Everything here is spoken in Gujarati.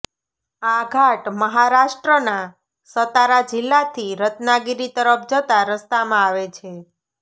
આ ઘાટ મહારાષ્ટ્રના સતારા જિલ્લાથી રત્નાગિરી તરફ જતા રસ્તામાં આવે છે